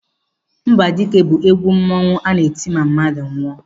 Mgbadike bụ egwu mmanwu a na-eti ma mmadụ nwụọ.